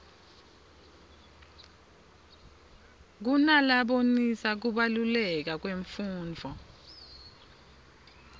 kunalabonisa kubaluleka kwemfundvo